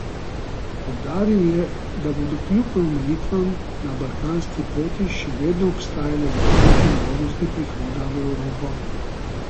Poudaril je, da bodo kljub omejitvam na balkanski poti še vedno obstajale zakonite možnosti prihoda v Evropo.